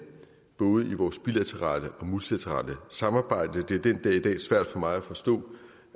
både i vores bilaterale og multilaterale samarbejde det er den dag i dag svært for mig at forstå